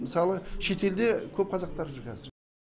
мысалы шетелде көп қазақтар жүр қазір